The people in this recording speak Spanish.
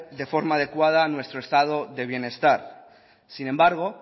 de forma adecuada nuestro estado de bienestar sin embargo